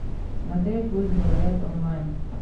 смотреть пусть говорят онлайн